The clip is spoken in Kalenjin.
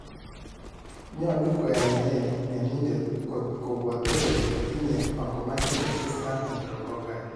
Nyolu koyae nee mionindet kot kobwote kole tinye vancomycin resistant enterococci?